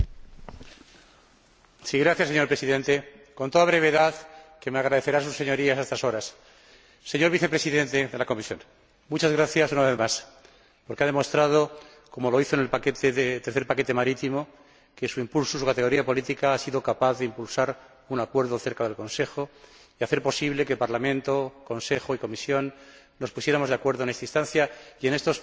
Señor Presidente, con toda brevedad —que me agradecerán sus Señorías a estas horas— señor Vicepresidente de la Comisión, muchas gracias una vez más porque ha demostrado, como lo hizo en el tercer paquete marítimo, que su impulso y su categoría política han sido capaces de impulsar un acuerdo cerca del Consejo y hacer posible que Parlamento, Consejo y Comisión nos pusiéramos de acuerdo en esta instancia y en estos postreros días en que acaba la legislatura.